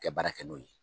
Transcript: Kɛ baara kɛ n'o ye